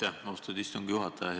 Aitäh, austatud istungi juhataja!